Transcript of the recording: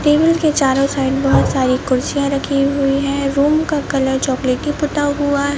table के चारों side बहोत सारी कुर्सियां रखी हुई है रूम का कलर चॉकलेटी पोता हुआ--